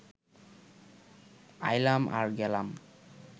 আইলাম আর গেলাম